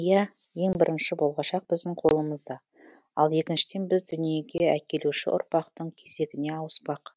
иә ең бірінші болашақ біздің қолымызда ал екіншіден біз дүниеге әкелеуші ұрпақтың кезегіне ауыспақ